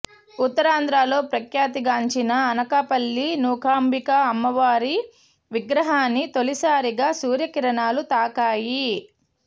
ఉత్తరాంధ్రలో ప్రఖ్యాతిగాంచిన అనకాపల్లి నూకాంబిక అమ్మవారి విగ్రహాన్ని తొలిసారిగా సూర్యకిరణాలు తాకాయి